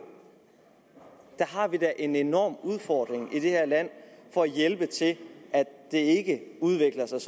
der har vi da en enorm udfordring i det her land for at hjælpe til at det ikke udvikler sig